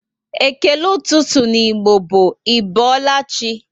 Ékélé ụtụtụ n'Igbo bụ "Ị boola chi?"